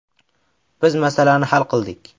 Biz masalani hal qildik.